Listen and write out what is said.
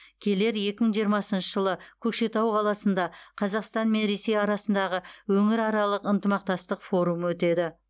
келер екі мың жиырмасыншы жылы көкшетау қаласында қазақстан мен ресей арасындағы өңіраралық ынтымақтастық форумы өтеді